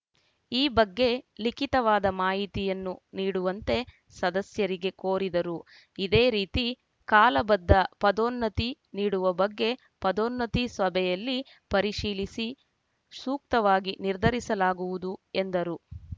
ಈ ಬಗ್ಗೆ ಲಿಖಿತವಾದ ಮಾಹಿತಿಯನ್ನು ನೀಡುವಂತೆ ಸದಸ್ಯರಿಗೆ ಕೋರಿದರು ಇದೇ ರೀತಿ ಕಾಲ ಬದ್ಧ ಪದನ್ನೋತಿ ನೀಡುವ ಬಗ್ಗೆ ಪದನ್ನೋತಿ ಸಭೆಯಲ್ಲಿ ಪರಿಶೀಲಿಸಿ ಸೂಕ್ತವಾಗಿ ನಿರ್ಧರಿಸಲಾಗುವುದು ಎಂದರು